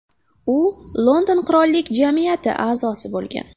U London Qirollik jamiyati a’zosi bo‘lgan.